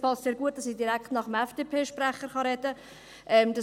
Es passt sehr gut, dass ich direkt nach dem FDP-Sprecher reden kann.